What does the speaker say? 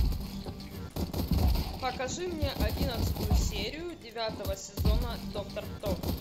покажи мне одиннадцатую серию девятого сезона доктор кто